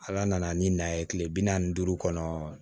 Ala nana ni na ye kile bi naani ni duuru kɔnɔ